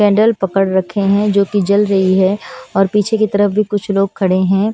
Candle पकड़ रखे हैं जो कि जल रही है और पीछे की तरफ भी कुछ लोग खड़े हैं।